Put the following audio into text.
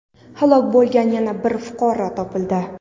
halok bo‘lgan yana bir fuqaro topildi.